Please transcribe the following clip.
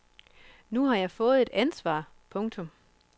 Nu har jeg fået et ansvar. punktum